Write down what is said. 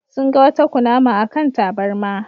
Sun ga wata kunama a kan tabarma.